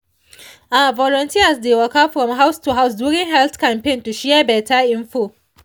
ah volunteers dey waka from house to house during health campaign to share better info.